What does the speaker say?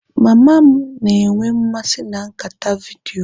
Mama m na-enwe mmasị na nkata vidiyo.